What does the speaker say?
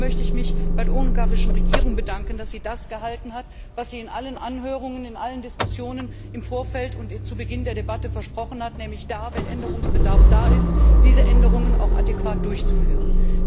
Vor allem aber möchte ich mich bei der ungarischen Regierung bedanken, dass sie das gehalten hat, was sie in allen Anhörungen und in allen Diskussionen im Vorfeld und zu Beginn der Debatten versprochen hat, nämlich dann, wenn Änderungsbedarf besteht, diese Änderungen auch adäquat durchzuführen.